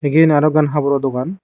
iyen aro ekkan haboro dogan.